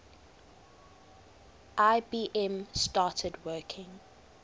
ibm started working